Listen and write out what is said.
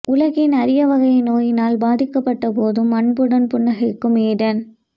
உலகின் அரிய வகை நோயினால் பாதிக்கப்பட்ட போதும் அன்புடன் புன்னகைக்கும் ஏடன்